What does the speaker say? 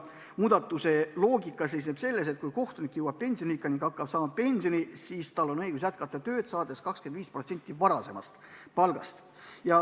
Muudatus seisneb nüüd selles, et kui kohtunik jõuab pensioniikka ning hakkab saama pensioni, siis tal on õigus jätkata tööd, saades 25% varasemast palgast.